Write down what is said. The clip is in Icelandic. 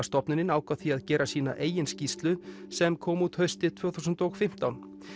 stofnunin ákvað því að gera sína eigin skýrslu sem kom út haustið tvö þúsund og fimmtán